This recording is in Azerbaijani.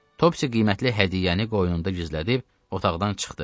Topci qiymətli hədiyyəni qoynunda gizlədib, otaqdan çıxdı.